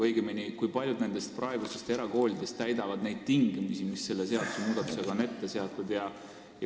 Õigemini, kui paljud praegustest erakoolidest täidavad neid tingimusi, mis selle seadusmuudatusega on ette nähtud?